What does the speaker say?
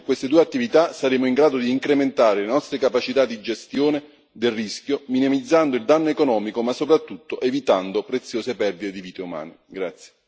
Concentrando i finanziamenti su queste due attività saremo in grado di incrementare le nostre capacità di gestione del rischio, minimizzando il danno economico, ma soprattutto evitando preziose perdite di vite umane.